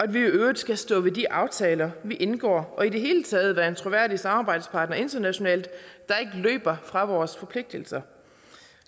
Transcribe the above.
vi i øvrigt skal stå ved de aftaler vi indgår og i det hele taget være en troværdig samarbejdspartner internationalt der ikke løber fra vores forpligtelser